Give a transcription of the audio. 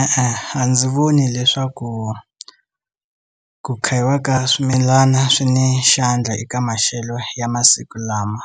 E-e a ndzi voni leswaku ku khayiwa ka swimilana swi ni xandla eka maxelo ya masiku lama.